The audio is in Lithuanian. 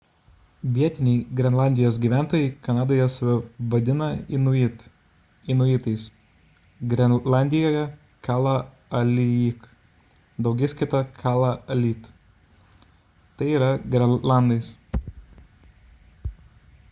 vietiniai grenlandijos gyventojai kanadoje save vadina inuit inuitais grenlandijoje – kalaalleq daugiskaita – kalaallit tai yra grenlandais